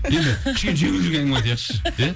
енді кішкене жеңілдеу әңгіме айтайықшы ия